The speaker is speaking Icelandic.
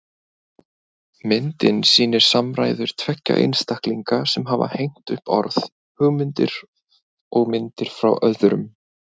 Myndin sýnir samræður tveggja einstaklinga sem hafa hengt upp orð, hugmyndir og myndir frá öðrum.